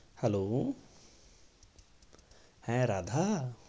Hello হ্যাঁ রাধা?